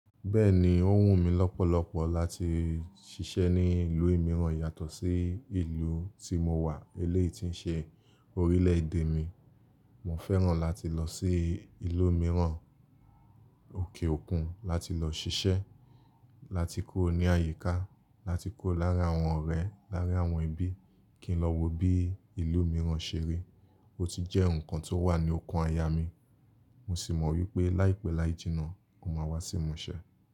Bẹ́ẹ̀ni, ó wù mí lọ́pọ̀lọpọ̀ láti ṣiṣẹ́ ní ìlú mìíràn yàtọ̀ sí ìlú tí mo wà eléyìí tí ń ṣe orílẹ̀ èdè mi. Mo fẹ́ràn láti lọ sí ìlú mìíràn, òkè òkun láti lọ ṣiṣẹ́, láti kuro ní àyíká, láti kuro láarin àwọn ọ̀rẹ́, láarin àwọn ẹbí kí n lọ wo bí ìlú mìíràn ṣe rí. Ó ti jẹ́ nǹkan tó wà ní ọkàn aya mi, mo sì mọ̀ wípé láìpẹ́ láijínà, ó máa wá sí imú ṣẹ.